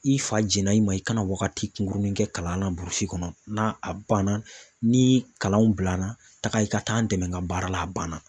I fa jɛna i ma i kana wagati kunkurunin kɛ kalan na burusi kɔnɔ na a banna ni kalanw bilala taga i ka taa an dɛmɛ ka baara la a banna